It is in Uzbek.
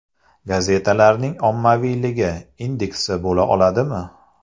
Gazetalarning ommaviyligi indeksi bo‘la oladimi?